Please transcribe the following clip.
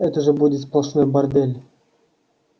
это же будет сплошной бордель